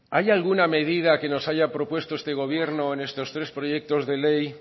hay alguna medida que nos haya propuesto este gobierno en estos tres proyectos de ley